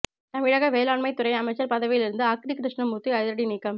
தமிழக வேளாண்மைத் துறை அமைச்சர் பதவியிலிருந்து அக்ரி கிருஷ்ணமூர்த்தி அதிரடி நீக்கம்